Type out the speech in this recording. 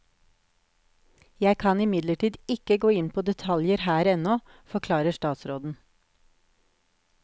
Jeg kan imidlertid ikke gå inn på detaljer her ennå, forklarer statsråden.